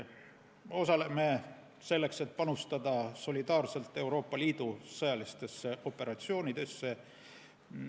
Me osaleme selleks, et panustada solidaarselt Euroopa Liidu sõjalistesse operatsioonidesse.